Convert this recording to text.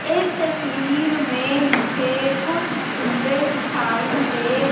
इस तस्वीर में मुझे कुछ झूले दिखाई दे--